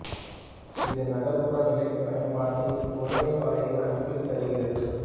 இது நகர்ப்புற நிலப் பயன்பாட்டை ஒருமைய வளைய அமைப்பில் தருகிறது